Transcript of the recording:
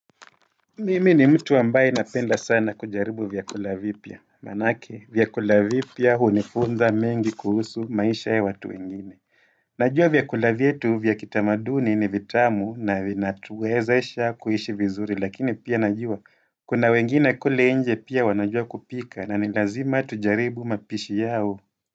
Mimi ni mtu ambaye napenda sana kujaribu vyakula vipya. Manake vyakula vipya hunifunza mengi kuhusu maisha ya watu wengine. Najua vyakula vyetu vya kitamaduni ni vitamu na vinatuwezasha kuishi vizuri lakini pia najua. Kuna wengine kule nje pia wanajua kupika na ni lazima tujaribu mapishi yao.